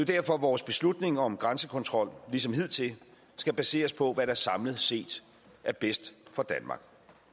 derfor vores beslutning om grænsekontrol ligesom hidtil skal baseres på hvad der samlet set er bedst for danmark